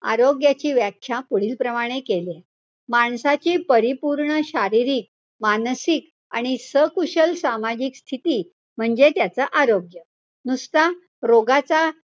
आरोग्याची व्याख्या पुढील प्रमाणे केलीय. माणसाची परिपूर्ण शारीरिक, मानसिक आणि सकुशल सामाजिक स्थिती, म्हणजे त्याच आरोग्य. नुसता रोगाचा,